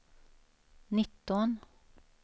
nitton